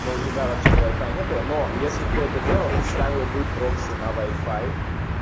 но у тебя вообще-то вай-фая не было но если б ты это делал ты ставил бы прокси на вай-фай